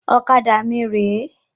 Ọ̀kadà mí rè é